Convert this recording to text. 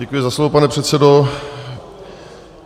Děkuji za slovo, pane předsedo.